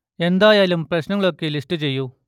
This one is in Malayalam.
എന്തായാലും പ്രശ്നങ്ങൾ ഒക്കെ ലിസ്റ്റ് ചെയ്യൂ